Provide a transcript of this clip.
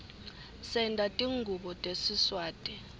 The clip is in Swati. senta tingubo tesiswati